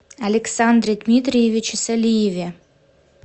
александре дмитриевиче солиеве